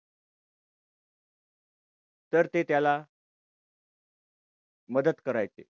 तर ते त्याला मदत करायचे.